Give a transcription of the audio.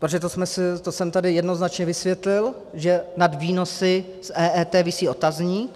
Protože to jsem tady jednoznačně vysvětlil, že nad výnosy z EET visí otazník.